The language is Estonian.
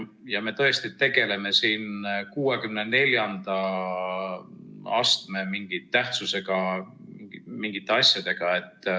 Ja me tõesti tegeleme siin mingite 64. astme tähtsusega asjadega.